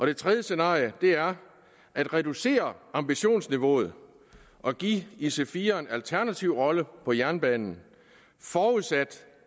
det tredje scenarie er at reducere ambitionsniveauet og give ic4eren en alternativ rolle på jernbanen forudsat